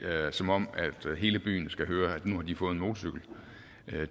som om hele byen skal høre at nu har de fået en motorcykel